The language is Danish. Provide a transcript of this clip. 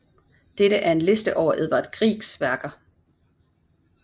Dette er en liste over Edvard Griegs værker